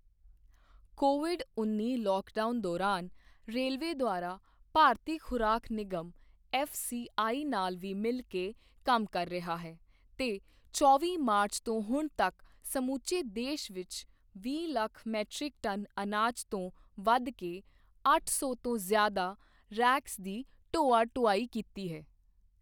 Covid ਉੱਨੀ lockdown ਦੋਰਾਨ railway ਦੁਆਰਾ ਭਾਰਤੀ ਖੁਰਾਕ ਨਿਗਮ ਐੱਫ਼ਸੀਆਈ ਨਾਲ ਵੀ ਮਿਲ ਕੇ ਕੰਮ ਕਰ ਰਿਹਾ ਹੈ ਤੇ ਚੌਵੀ ਮਾਰਚ ਤੋਂ ਹੁਣ ਤੱਕ ਸਮੁੱਚੇ ਦੇਸ਼ ਵਿੱਚ ਵੀਹ ਲੱਖ ਮੀਟ੍ਰਿਕ ਟਨ ਅਨਾਜ ਤੋਂ ਵੱਧ ਦੇ ਅੱਠ ਸੌ ਤੋਂ ਜ਼ਿਆਦਾ ਰੇਕਸ ਦੀ ਢੋਆ ਢੁਆਈ ਕੀਤੀ ਹੈ।